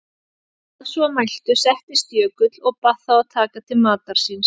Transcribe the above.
Að svo mæltu settist Jökull og bað þá að taka til matar síns.